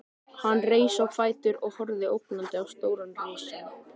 Hann reis á fætur og horfði ógnandi á stóran risann.